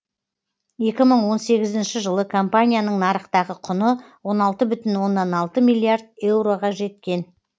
екі мың он сегізінші жылы компанияның нарықтағы құны он алты бүтін оннан алты миллиард еуроға жеткен